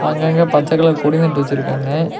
அங்கங்க பச்ச கலர் கொடி நட்டு வச்சுருக்காங்க.